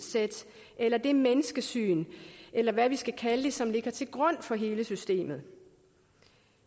eller det menneskesyn eller hvad vi skal kalde det som ligger til grund for hele systemet